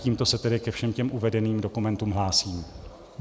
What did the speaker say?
Tímto se tedy ke všem těm uvedeným dokumentům hlásím.